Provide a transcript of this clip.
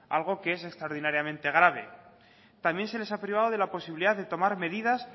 algo que es extraordinariamente grave también se les ha privado de la posibilidad de tomar medidas